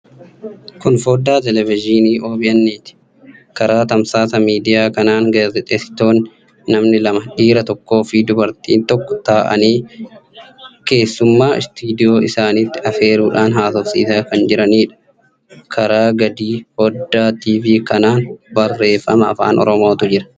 Kun foddaa teelevizyiinii OBN'ti. Karaa tamsaasa miidiyaa kanaan gaazexeessonni namni lama; dhiira tokkoo fi dubartii tokko ta'anii keessummaa istuudiyoo isaaniitti afeeruudhaan haasofsiisaa kan jiraniidha. Karaa gadii foddaa TV kanaan barreeffama afaan Oromootu jira.